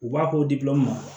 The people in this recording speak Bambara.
U b'a ko dilaw ma